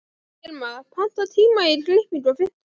Hilma, pantaðu tíma í klippingu á fimmtudaginn.